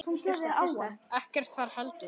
Ekkert þar heldur.